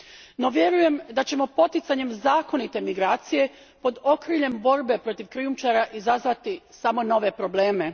No vjerujem da ćemo poticanjem zakonite migracije pod okriljem borbe protiv krijumčara izazvati samo nove probleme.